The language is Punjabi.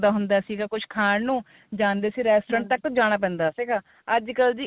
ਹੁੰਦਾ ਸੀਗਾ ਕੁੱਝ ਖਾਣ ਨੂੰ ਜਾਂਦੇ ਸੀ restaurant ਜਾਣਾ ਪੈਂਦਾ ਸੀ ਅੱਜਕਲ ਜੀ